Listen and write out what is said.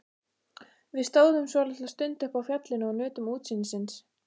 Við stóðum svolitla stund uppi á fjallinu og nutum útsýnisins.